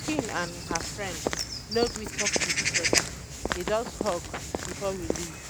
my pikin and her friend no gree talk to each other dey just hug before we leave